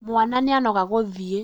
Mwana nĩanoga gũthiĩ